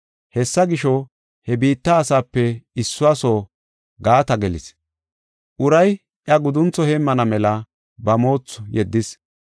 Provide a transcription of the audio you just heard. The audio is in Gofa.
Hessa gisho, he biitta asaape issuwa soo gaata gelis. Uray iya guduntho heemmana mela ba moothu yeddis.